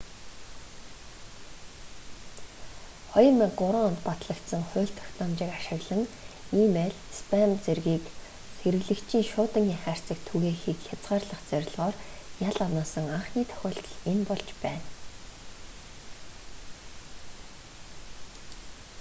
2003 онд батлагдсан хууль тогтоомжийг ашиглан и-мэйл спам зэргийг хэрэглэгчийн шуудангийн хайрцагт түгээхийг хязгаарлах зорилгоор ял оноосон анхны тохиолдол энэ болж байна